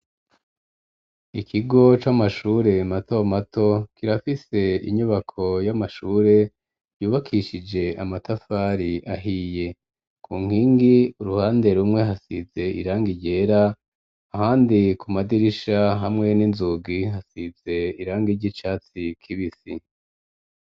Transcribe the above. Ikigo c'amashure mato mato kirafise inyubako y'amashure yubakishije amatafari ahiye ku nkingi uruhande rumwe hasize irangi ryera ahandi ku madirisha hamwe n'inzugi hasize irangi ry'icatsi kibisi.